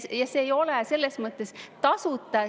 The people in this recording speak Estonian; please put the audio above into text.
Ja see ei ole selles mõttes tasuta.